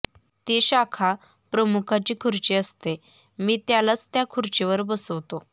ती शाखा प्रमुखाची खुर्ची असते मी त्यालाच त्या खुर्चीवर बसवतो